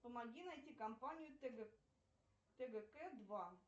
помоги найти компанию тгк два